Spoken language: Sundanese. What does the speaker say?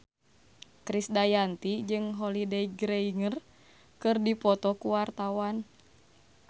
Krisdayanti jeung Holliday Grainger keur dipoto ku wartawan